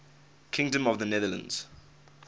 kingdom of the netherlands